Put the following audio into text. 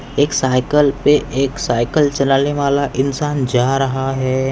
एक साइकल पे एक साइकल चलाले वाला इन्सान जा रहा है।